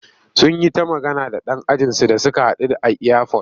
Sun yi ta magana da ɗan ajinsu da suka haɗu a iyafot.